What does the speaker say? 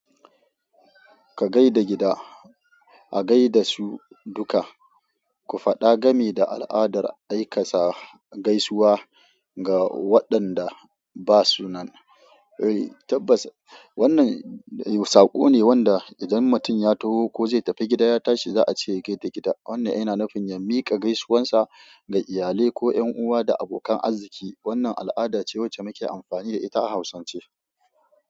Ka gaida gida, a gaida su duka, ku faɗa game da al'adar aikata gaisuwa ga waɗanda ba su nan. Ei tabbas wannan saƙo ne wanda idan mutum ya taho ko zai tafi gida ya tashi za a ce ya gaida gida. Wannan yana nufin ya miƙa gaisuwar sa ga iyalai ko ƴan uwa da abokan arziki. Wannan al'ada ce wacce muke amfani da ita a Hausance.